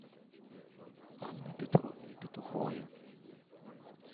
анной петровной петуховой